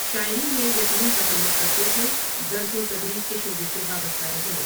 شاعری میں یتیم تخلص کرتے تھے درس و تدریس کے شعبے سے وابستہ رہے ۔